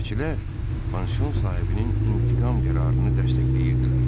Kirəçilər, pansion sahibinin intiqam qərarını dəstəkləyirdilər.